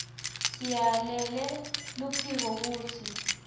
siyalele loluphiko kutsi